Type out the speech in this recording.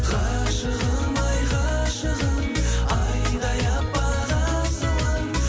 ғашығым ай ғашығым айдай аппақ асылым